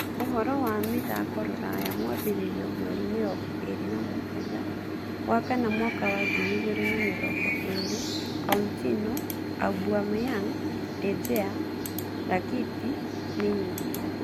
Ũhoro wa mĩthako rũraya mwambĩrĩrio mweri mĩrongo ĩĩrĩ na mũgwanja wakana mwaka wangiri igĩrĩ na mĩrongo ĩĩrĩ": Coutinho, Aubameyang, De Gea, Rakitic, Neymar